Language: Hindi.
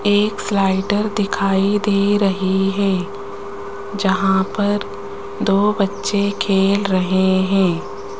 एक स्लाइडर दिखाई दे रही है जहां पर दो बच्चे खेल रहे हैं।